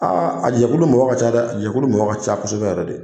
a jɛkulu mɔgɔ ka ca dɛ, a jɛkulu mɔgɔ ka ca kosɛbɛ yɛrɛ de.